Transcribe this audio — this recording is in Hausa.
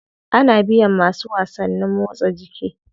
Ana biyan masu wasannin motsa jiki.